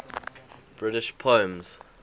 british poems